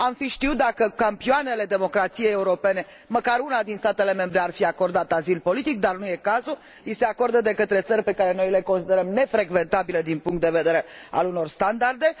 Am fi știut, dacă campioanele democrației europene, măcar unul din statele membre, ar fi acordat azil politic, dar nu e cazul i se acordă de către țări pe care noi le considerăm nefrecventabile din punct de vedere al unor standarde.